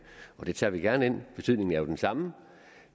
og det tager vi gerne ind betydningen er jo den samme